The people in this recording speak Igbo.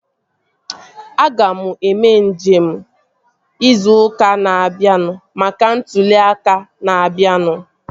Aga m eme nje izu ụka na-abịa maka maka ntụli aka na-abianu